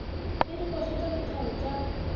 le dikoša tša lethabo tša